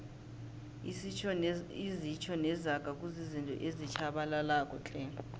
izitjho nezaga kuzizinto ezitjhabalalako tle